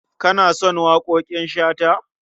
Na san waƙoƙin Shata.